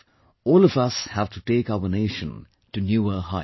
All of us have to take our nation to newer heights